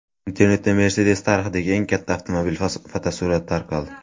Internetda Mercedes tarixidagi eng katta avtomobil fotosurati tarqaldi.